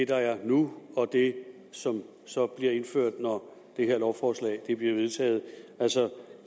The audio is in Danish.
der er nu og det som så bliver indført når det her lovforslag bliver vedtaget er altså